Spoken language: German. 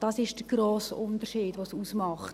Das ist es, was den grossen Unterschied ausmacht.